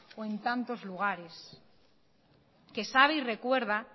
o en tantos lugares que sabe y recuerda